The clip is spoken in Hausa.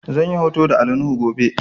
Zan yi hoto da Ali nuhu gobe